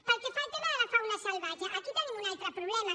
pel que fa al tema de la fauna salvatge aquí tenim un altre problema